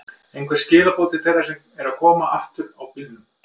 Einhver skilaboð til þeirra sem eru að koma aftur á bílum?